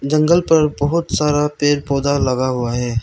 जंगल पर बहुत सारा पेड़ पौधा लगा हुआ है।